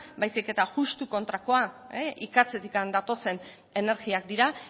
baizik eta justu kontrakoa ikatzetik datozen energiak dira